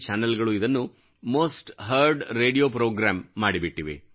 ಚಾನಲ್ಗಳು ಇದನ್ನು most heard radio programme ಮಾಡಿಬಿಟ್ಟಿವೆ